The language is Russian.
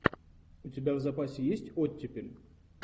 у тебя в запасе есть оттепель